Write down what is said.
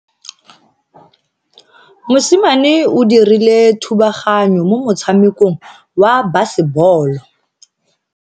Mosimane o dirile thubaganyo mo motshamekong wa basebolo.